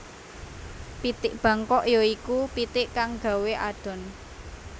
Pitik Bangkok ya iku pitik kang gawé adhon